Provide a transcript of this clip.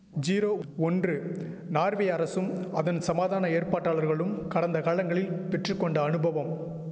zero ஒன்று Norway அரசும் அதன் சமாதான ஏற்பாட்டாளர்களும் கடந்த காலங்களில் பெற்று கொண்ட அனுபவம்